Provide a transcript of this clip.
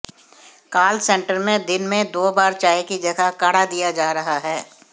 काल सेंटर में दिन में दो बार चाय की जगह काढ़ा दिया जा रहा है